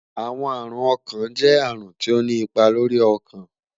Awọn arun ọkan jẹ arun ti o ni ipa lori ọkan